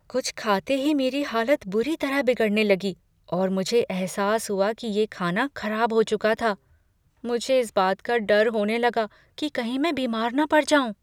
कुछ खाते ही मेरी हालत बुरी तरह बिगड़ने लगी और मुझे एहसास हुआ कि ये खाना खराब हो चुका था। मुझे इस बात का डर होने लगा कि कहीं मैं बीमार न पड़ जाऊँ।